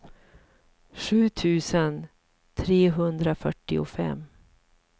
sju tusen trehundrafyrtiofem